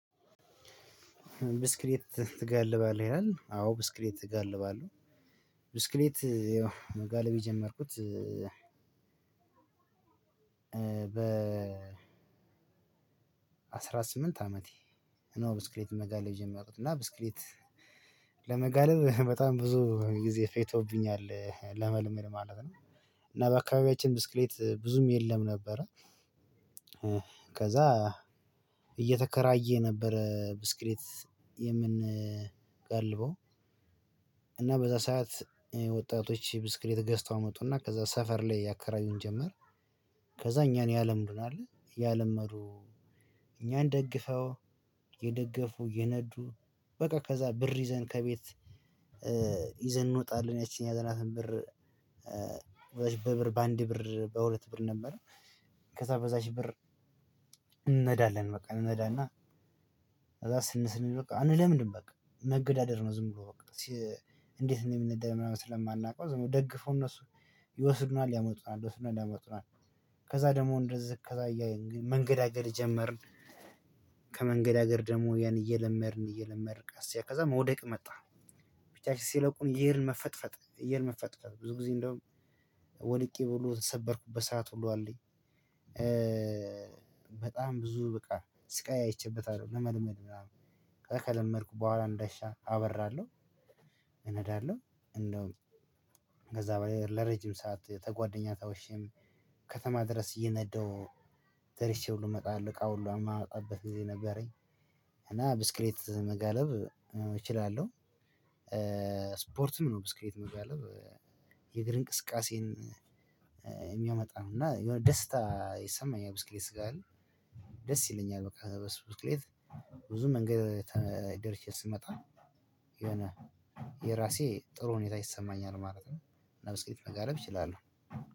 ብስክሌት ትጋልባለህ ይላል አዎ ብስክሌት እጋልባለሁ ብስክሌት መጋለብ የጀመርኩት በ አስራ ስምንት አመቴ ነው። ብስክሌት መጋለብ የጀመርሁት እና ብስክሌት ለመጋለብ በጣም ብዙ ጊዜ ፌጅቶብኛል ለመልመድ ማለት ነው። እና በአካባቢያችን ብስክሌት ብዙም የለም ነበረ። ከዛ እየተከራየ ነበረ ብስክሌት የምንጋልበው እና በዛ ሰዓት ወጣቶች ብስክሌት ገዝተው አመጡና ከዛ ሰፈር ላይ ያከራዩን ጀመር። ከዛ እኛን ያለምዱናል። እያለመዱ እኛን ደግፈው እየደገፉ እየነዱ በቃ ከዛ ብር ይዘን ከቤት ይዘን እንወጣለን። ያቺን የያዘናትን ብር በዛች በብር በአንድ ብር በሁለት ብር ነበር። ከዛ በዛች ብር እንነዳለን በቃ እንነዳና። ከዛ ስንል ስንል አንለምድም በቃ መገዳደር ነው። ዝም ብሎ በቃ። እንዴት እንደሚነዳ ምናምን ስለማናውቀው ዝምብለው ደግፎ እነሱ ይወስዱናል ያመጡናል ይወስዱናል ያመጡናል። ከዛ ደግሞ እንደዚህ ከዛ መንገዳገድ ጀመርን። ከመንገዳገድ ደግሞ ያን እየለመድን እየለመድን ቅስ እያልን ከዛ መውደቅ መጣ። ብቻችንን ሲለቁን እየሄድን መፈጥፈጥ እየሄድን መፈጥፈጥ ብዙ ጊዜ እንደውም ወድቄ ሁሉ የተሰበርኩበት ሰዓት ሁሉ አለኝ። በጣም ብዙ በቃ ስቃይ አይቼበታልሁ ለመለመድ ምናምን። ከዛ ከለመድኩ በኋላ እንደሻ አበራለሁ። እነዳለሁ እንደውም ከዛ ለረጅም ሰዓት ተጓደኛ ትውሸም። ከተማ ድረስ እየነደው ደርሼ ሁሉ እመጣለሁ እቃ ሁሉ የማመጣበት ጊዜ ነበረኝ። እና ብስክሌት መጋለብ እችላለሁ። ስፖርትም ነው ብስክሌት መጋለብ የእግር እንቅስቃሴን የሚያመጣ ነው። እና የሆነ ደስታ ይሰማኛል ብስክሌት ስጋልብ። ደስ ይለኛል በቃ። ብስክሌት ብዙ መንገድ ደርሼ ስመጣ የሆነ የራሴ ጥሩ ሁኔታ ይሰማኛል ማለት ነው። እና ብስክሌት መጋለብ እችላለሁ።